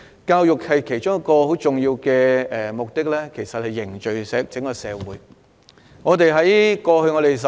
教育其中一個很重要的目的是凝聚社會。